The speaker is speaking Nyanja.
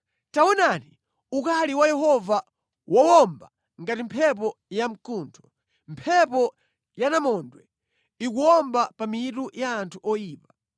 Taonani ukali wa Yehova wowomba ngati mphepo ya mkuntho. Mphepo ya namondwe ikuwomba pa mitu ya anthu oyipa.